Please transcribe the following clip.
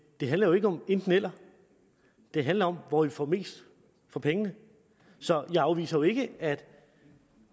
det handler jo ikke om enten eller det handler om hvor vi får mest for pengene så jeg afviser jo ikke at